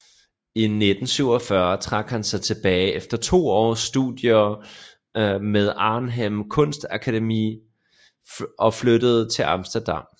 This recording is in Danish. I 1947 trak han sig tilbage efter to års studier ved Arnhem Kunstakademi og flyttede til Amsterdam